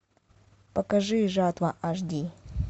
покажи жатва аш ди